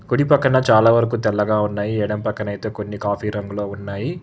కుడి పక్కన చాలా వరకు తెల్లగా ఉన్నాయి ఎడం పక్కన అయితే కొన్ని కాపీరంగు లో ఉన్నాయి.